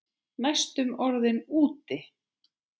Næstum orðinn úti